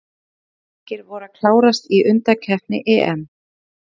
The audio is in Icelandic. Fimm leikir voru að klárast í undankeppni EM.